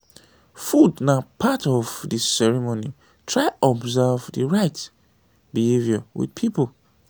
food na part of di ceremony try observe di right behaviour with food